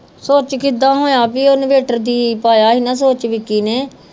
ਸੂਚ ਕਿਦਾਂ ਹੋਇਆ ਵੀ ਓਹਨੇ ਪਾਇਆ ਸੀ ਨਾ ਸੂਚ ਵਿੱਕੀ ਨੇ